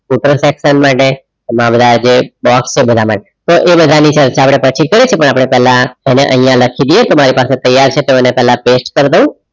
સૂત્ર section માટે આજે box છે. બધા માટે તો એ બધાની ચર્ચા આપણે પછી કરીશું પહેલા અહીંયા લખી દઈએ. મારી પાસે તૈયાર છે પહેલા paste કર દઉં.